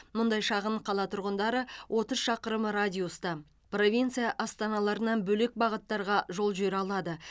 мұндай шағын қала тұрғындары отыз шақырым радиуста провинция астаналарынан бөлек бағыттарға жол жүре алады